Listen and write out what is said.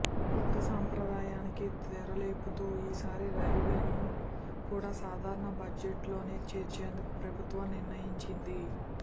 కొత్త సంప్రదాయానికి తెరలేపుతూ ఈ సారి రైల్వేలను కూడా సాధారణ బడ్జెట్లోనే చేర్చేందుకు ప్రభుత్వం నిర్ణయించింది